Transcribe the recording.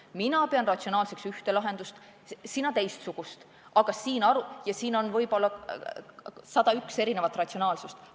Mina pean ratsionaalseks ühte lahendust, sina teistsugust, aga võib olla 101 erinevat arusaama ratsionaalsusest.